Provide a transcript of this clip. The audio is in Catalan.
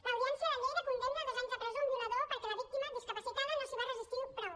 l’audiència de lleida condemna a dos anys de presó un violador perquè la víctima discapacitada no s’hi va resistir prou